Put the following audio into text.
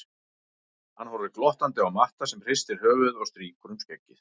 Hann horfir glottandi á Matta sem hristir höfuðið og strýkur um skeggið.